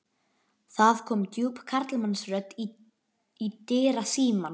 Það kom djúp karlmannsrödd í dyrasímann.